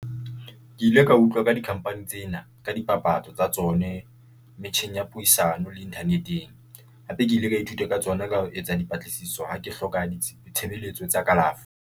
Ke ile ka utlwa ka di-company tsena ka dipapatso tsa tsone metjheng ya puisano le internet-eng. Hape ke ile ka ithuta ka tsona ka ho etsa dipatlisiso, ha ke hloka ditshebeletso tsa kalafo.